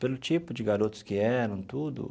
Pelo tipo de garotos que eram, tudo.